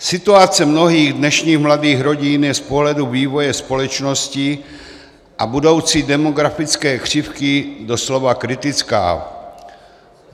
Situace mnohých dnešních mladých rodin je z pohledu vývoje společnosti a budoucí demografické křivky doslova kritická.